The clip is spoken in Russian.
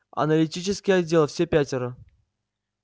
аналитический отдел все пятеро